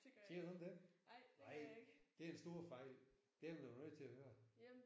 Kender du ikke dem? Nej det er en stor fejl. Dem er du nødt til at høre